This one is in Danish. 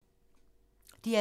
DR P3